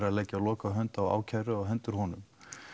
að leggja lokahönd á ákæru á hendur honum